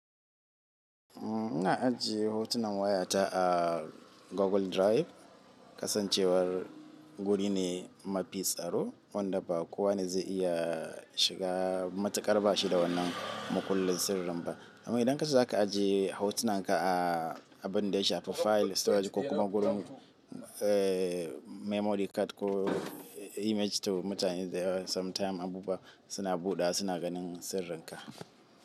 Ina ajiye hotunan wayata a Google Drive, kasancewar guri ne mafi tsaro wanda ba kowane zai iya shiga matuƙar bashi da wannan makullin sirrin ba. Amma idan ka ce za ka ajiye hotunan ka a abin da ya shafi file storage ko kuma gurin ee memory card ko image store mutane da yawa za su samu time abubuwa suna buɗawa suna ganin sirrin ka.